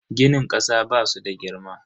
Ginin kasa basu da girma.